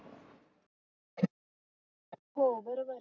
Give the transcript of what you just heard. हो बरोबर आहे